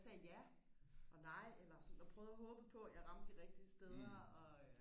og sagde ja og nej eller sådan og prøvede og håbe på jeg ramte de rigtige steder og øh